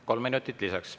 Kolm minutit lisaks.